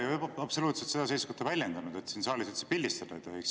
Ma ei ole ju absoluutselt seda seisukohta väljendanud, et siin saalis üldse pildistada ei tohiks.